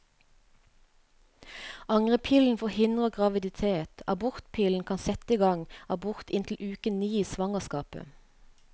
Angrepillen forhindrer graviditet, abortpillen kan sette i gang abort inntil uke ni i svangerskapet.